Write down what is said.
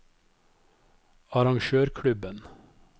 arrangørklubben